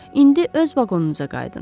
İndi öz vaqonunuza qayıdın.